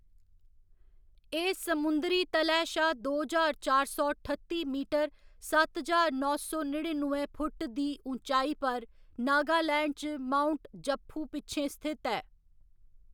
एह्‌‌ समुंदरी तलै शा दो ज्हार चार सौ ठत्ती मीटर सत्त ज्हार नौ सौ नड़िनुए फुट्ट दी उच्चाई पर, नागालैंड च माउंट जपफू पिच्छें स्थित ऐ।